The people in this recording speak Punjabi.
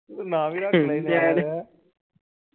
ਨਾਮ ਵੀ ਰੱਖ ਲੈਣਾ ਸੀ ।